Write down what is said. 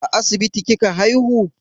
A asibiti kika haihu?